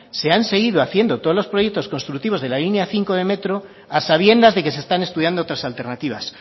se han seguido haciendo todos los proyectos constructivos de la línea cinco de metro a sabiendas de que se están estudiando otras alternativas